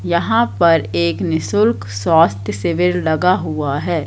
यहां पर एक निशुल्क स्वास्थ्य सिविर लगा हुआ है।